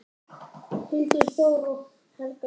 Hildur Þóra og Helga Guðný.